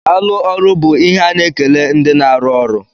Daalụ ọrụ bú ihe a na-ekele ndị na arụ ọrụ.